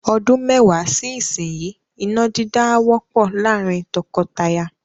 Ọdún mẹ́wàá sí ìsinyìí, iná dídá á wọ́pọ̀ láàrín tọkọtaya.